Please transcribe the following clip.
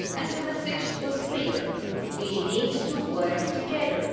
The message was clear we need to work together